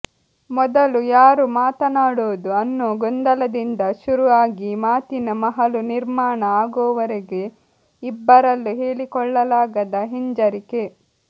ಮೊದಲು ಯಾರು ಮಾತನಾಡೋದು ಅನ್ನೋ ಗೊಂದಲದಿಂದ ಶುರು ಆಗಿ ಮಾತಿನ ಮಹಲು ನಿರ್ಮಾಣ ಆಗೋವರೆಗೆ ಇಬ್ಬರಲ್ಲೂ ಹೇಳಿಕೊಳ್ಳಲಾಗದ ಹಿಂಜರಿಕೆ